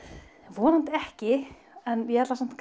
vonandi ekki en ég ætla samt